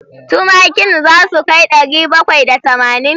Tumakin za su kai ɗari bakwai da tamanin?